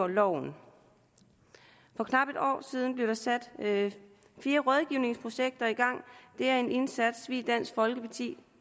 loven for knap et år siden blev der sat fire rådgivningsprojekter i gang det er en indsats vi i dansk folkeparti